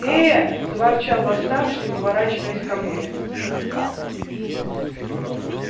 эээээ заворчал восставший поворачиваясь ко мне